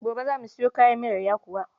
gobe za mu Sayo kayan miyar yakuwa